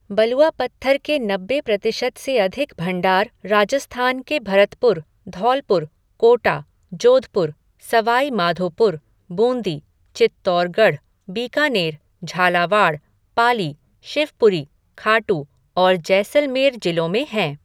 बलुआ पत्थर के नब्बे प्रतिशत से अधिक भंडार राजस्थान के भरतपुर, धौलपुर, कोटा, जोधपुर, सवाई माधोपुर, बूंदी, चित्तौड़गढ़, बीकानेर, झालावाड़, पाली, शिवपुरी, खाटू और जैसलमेर जिलों में हैं।